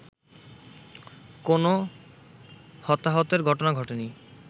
কোনো হতাহতের ঘটনা ঘটেনি